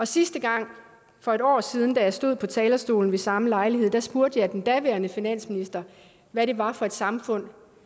sidste gang for et år siden da jeg stod på talerstolen ved samme lejlighed spurgte jeg den daværende finansminister hvad det var for et samfund